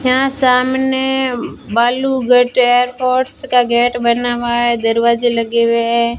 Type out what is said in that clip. यहां सामने बालू गेट एयरपोर्ट्स का गेट बना हुआ है दरवाजे लगे हुए हैं।